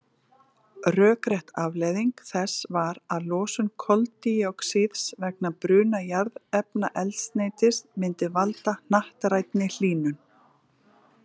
Rökrétt afleiðing þess var að losun koldíoxíðs vegna bruna jarðefnaeldsneytis myndi valda hnattrænni hlýnun.